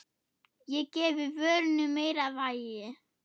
Það gefi vörunni meira vægi.